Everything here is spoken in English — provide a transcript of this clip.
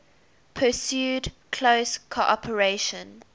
pursued close cooperation